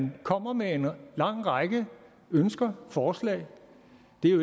man kommer med en lang række ønsker og forslag